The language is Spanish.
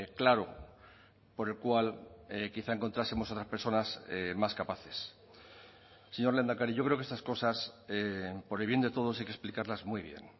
claro por el cual quizá encontrásemos otras personas más capaces señor lehendakari yo creo que estas cosas por el bien de todos hay que explicarlas muy bien